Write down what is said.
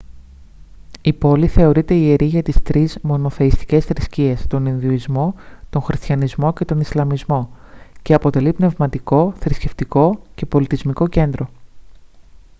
η πόλη θεωρείται ιερή για τις τρεις μονοθεϊστικές θρησκείες τον ιουδαϊσμό τον χριστιανισμό και τον ισλαμισμό και αποτελεί πνευματικό θρησκευτικό και πολιτισμικό κέντρο